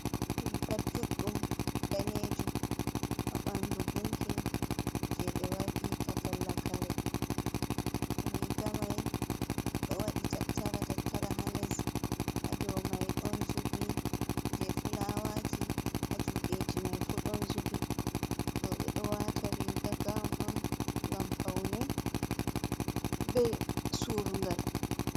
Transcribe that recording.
Riga juɗɗum danejum, haɓandu gunki je ɓe waɗirta talla kare, riga mai ɗo waɗi tattara tattara ha les hadow mai ɗon zubi je fulawaji, ha juɗeji mai fu ɗon zubi roɓe ɗo wata riga gawon on ngam faune be surungal.